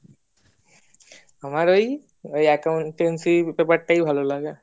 আমার ওই accountancy paper টাই ভালোলাগে